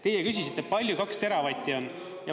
Teie küsisite, palju 2 teravatti on.